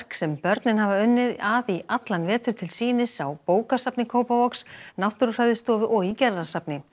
sem börnin hafa unnið að í allan vetur til sýnis á bókasafni Kópavogs Náttúrufræðistofu og í Gerðarsafni